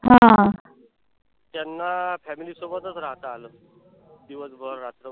त्यांना family सोबतच राहता आलं. दिवसभर रात्रभर